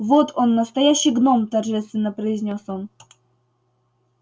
вот он настоящий гном торжественно произнёс он